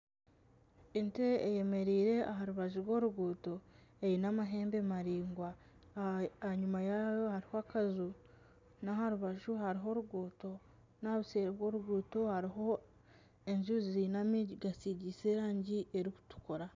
Ente eyemereire aha rubaju rw'oruguuto eine amahembe maraingwa aha nyuma yaayo hariho akaju, naha rubaju hariho oruguuto, naha buseeri bw'oruguuto hariho enju ziine enyingi zisigiise erangi erikutukura.